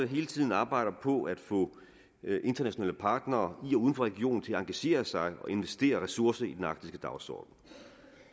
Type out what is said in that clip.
hele tiden arbejder på at få internationale partnere i og uden for regionen til at engagere sig og investere ressourcer i den arktiske dagsorden